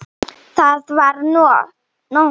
Það var nótt.